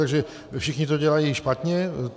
Takže všichni to dělají špatně?